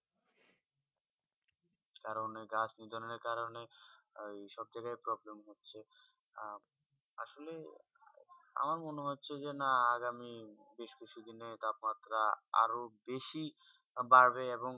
কারণ এই গাছ নিধনে কারণে সব জায়গা problem হচ্ছেই আসলে আমার মনে হচ্ছেই আগামী বেশ কিছু দিনে তাপ মাত্রা আরও বেশি বাধবে এবং